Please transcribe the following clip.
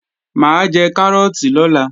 Mà á jẹ kárọ́ọ̀tì lọ́la